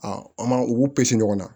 an m'a u ɲɔgɔn na